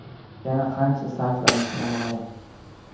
Yana qancha sarflanishi noma’lum.